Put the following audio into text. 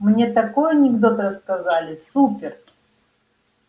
мне такой анекдот рассказали супер